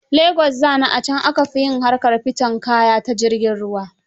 Lagos nza ni, a can aka fi yin harkar fiton kaya ta jirgin ruwa.